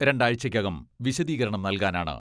രണ്ടാഴ്ചയ്ക്കകം വിശദീകരണം നൽകാനാണ് .